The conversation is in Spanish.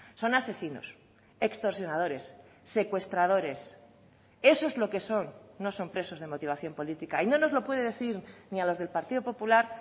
son asesinos extorsionadores secuestradores eso es lo que son nos son presos de motivación política y no nos lo puede decir ni a los del partido popular